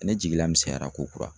ne jigila misɛnyara ko kura.